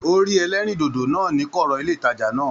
O rí ẹlẹrindodo náà ní kọọrọ ilé ìtàjà náà.